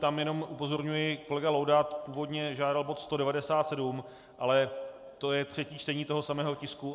Tam jenom upozorňuji, kolega Laudát původně žádal bod 197, ale to je třetí čtení toho samého tisku.